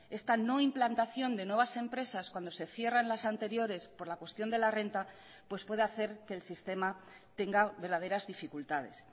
esta no implantación de nuevas empresas cuando se cierran las anteriores por la cuestión de la renta pues puede hacer que el sistema tenga verdaderas dificultades